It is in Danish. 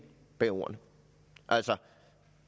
bag ordene altså